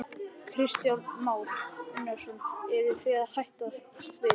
Kristján Már Unnarsson: Eruð þið að hætta við?